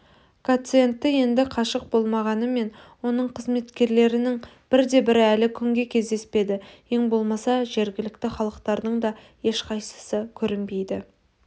гациенді енді қашық болмағанымен оның қызметкерлерінен бірде-бірі әлі күнге кездеспеді ең болмаса жергілікті халықтардың да ешқайсысы көрінбеді